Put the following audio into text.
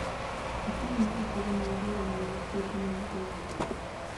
Ochung’ne ratiro mag jogo ma nigi puothe mag gwenge.